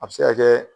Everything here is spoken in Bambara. A bɛ se ka kɛ